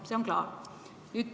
See on klaar.